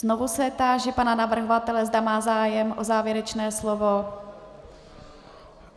Znovu se táži pana navrhovatele, zda má zájem o závěrečné slovo.